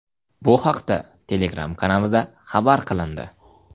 Bu haqda Telegram kanalida xabar qilindi .